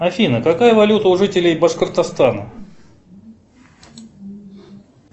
афина какая валюта у жителей башкортостана